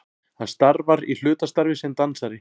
Hann starfar í hlutastarfi sem dansari